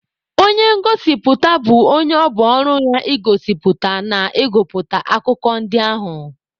Onye ngosipụta bụ onye ọ bụ ọrụ ya igosipụta na ịgụpụta akụkọ ndị ahụ.